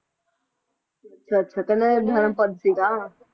ਅੱਛਾ ਅੱਛਾ ਕਹਿੰਦੇ ਇਹ ਧਰਮ ਪਧ ਸੀ ਗਾ